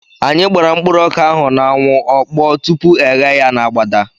Anyị gbara mkpụrụ ọka ahụ n'anwụ, ọ kpọọ tupu e ghee ya n'agbada